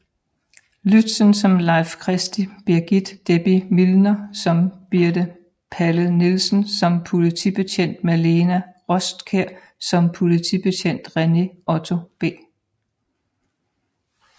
Lützen som Leif Christie Birgitt Debbie Millner som Birthe Palle Nielsen som Politibetjent Malena Rostkjær som Politibetjent René Otto B